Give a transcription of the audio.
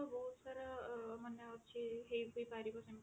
ବହୁତ ସାରା ମାନେ ଅଛି ହେଇ ବି ପାରିବ ସେମତି